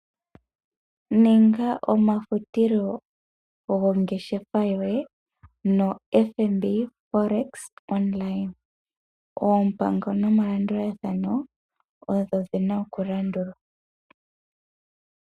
Ninga omafutilo gongeshefa yoye no FNB Folex Online, oompango nomalandulathano odho dhina oku landulwa.